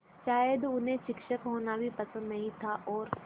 शायद उन्हें शिक्षक होना भी पसंद नहीं था और